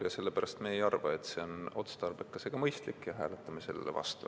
Sellepärast me ei arva, et see on otstarbekas ja mõistlik eelnõu, ja hääletame selle vastu.